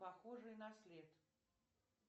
похожие на след